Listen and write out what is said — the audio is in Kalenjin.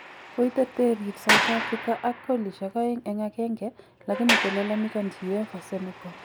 Koiterterir sauthafrika ak kolisyek aeng eng agenge lakini kolalamikanchi uefa Senegal